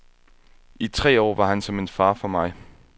I tre år var han som en far for mig.